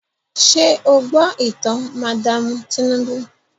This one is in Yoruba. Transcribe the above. Ṣé o gbọ́ ìtàn madaamu Tinúbú?